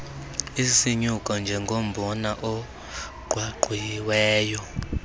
isilume njengombona ogqwagqwiweyo